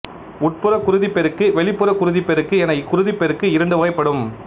உட்புறக் குருதிப் பெருக்கு வெளிப்புறக் குருதிப் பெருக்கு என குருதிப் பெருக்கு இரண்டு வகைப்படும்